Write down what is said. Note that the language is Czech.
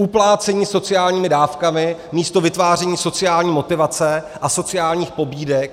Uplácení sociálními dávkami místo vytváření sociální motivace a sociálních pobídek.